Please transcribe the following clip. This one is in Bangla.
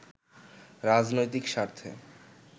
রাজনৈতিক স্বার্থে